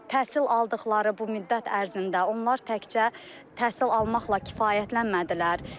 Təhsil aldıqları bu müddət ərzində onlar təkcə təhsil almaqla kifayətlənmədilər.